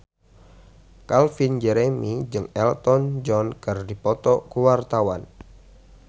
Calvin Jeremy jeung Elton John keur dipoto ku wartawan